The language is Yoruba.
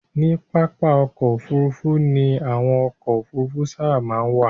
Ní pápá-ọkọ̀ òfurufú ni àwọn ọkọ̀ òfurufú sábà máa ń wà